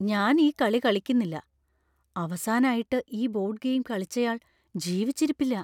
ഞാൻ ഈ കളി കളിക്കുന്നില്ല. അവസാനായിട്ട് ഈ ബോർഡ് ഗെയിം കളിച്ചയാൾ ജീവിച്ചിരിപ്പില്ല .